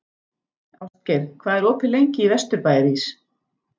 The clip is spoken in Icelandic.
Ástgeir, hvað er opið lengi í Vesturbæjarís?